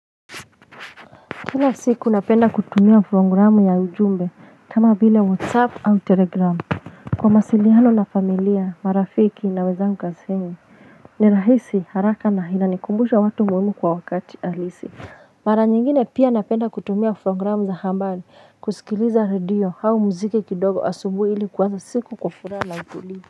Kila siku napenda kutumia programu ya ujumbe kama vile whatsapp au telegramu Kwa mawasiliano na familia marafiki na wezangu kazini ni rahisi haraka na hila nikumbusha watu muhimu kwa wakati halisi Mara nyingine pia napenda kutumia programu za habari kusikiliza redio au muziki kidogo asubuhi ili kuanza siku kwa furaha na utulivu.